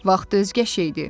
Vaxt özgə bir şeydir.